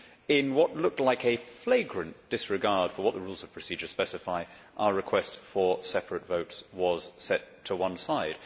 In what looked like a flagrant disregard for what the Rules of Procedure specify, our request for separate votes was set to one side.